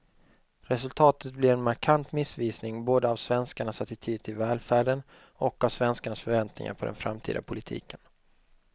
Resultatet blir en markant missvisning både av svenskarnas attityd till välfärden och av svenskarnas förväntningar på den framtida politiken.